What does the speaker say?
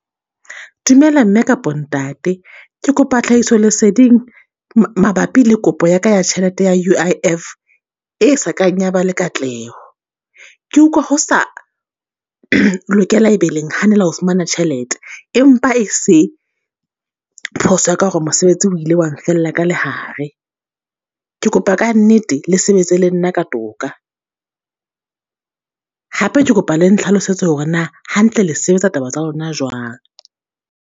Dumela mme kapo ntate ke kopa tlhahiso leseding mabapi le kopo ya ka ya tjhelete ya U_I_F, e sa kang ya ba le katleho. Ke utlwa ho sa lokela e be le nahanela ho fumana tjhelete, empa e se phoso ya ka hore mosebetsi o ile wang fella ka lehare. Ke kopa ka nnete le sebetsa le nna ka toka. Hape ke kopa le ntlhalosetse hore na hantle le sebetsa taba tsa lona jwang?